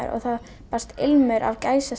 og það barst ilmur af